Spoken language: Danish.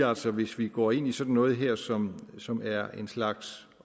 også hvis vi går ind i sådan noget her som som er en slags